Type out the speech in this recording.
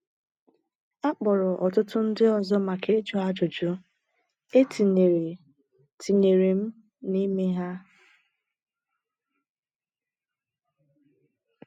A kpọrọ ọtụtụ ndị ọzọ maka ịjụ ajụjụ, e tinyere tinyere m n’ime ha.